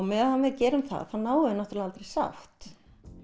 meðan við gerum það náum við aldrei sátt